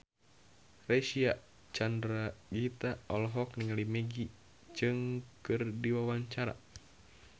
Reysa Chandragitta olohok ningali Maggie Cheung keur diwawancara